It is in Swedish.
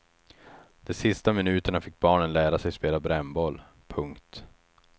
De sista minuterna fick barnen lära sig spela brännboll. punkt